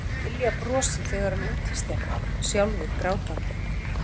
Hún þurfti að dylja brosið þegar hann úthýsti henni, sjálfur grátandi.